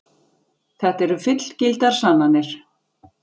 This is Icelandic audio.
Þetta eru fullgildar sannanir.